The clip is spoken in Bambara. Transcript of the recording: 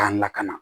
K'an lakana